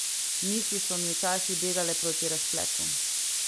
Misli so mi včasih begale proti razpletu.